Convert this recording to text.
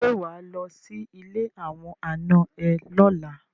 Ṣé wà á lọ sí ilé àwọn ànà ẹ lọ́la?